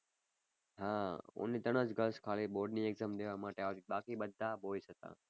હા only ત્રણ જ girls ખાલી board ની exam દેવા માટે આવી બાકી બધા boys હતા.